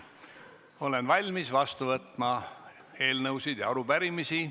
Olen valmis vastu võtma eelnõusid ja arupärimisi.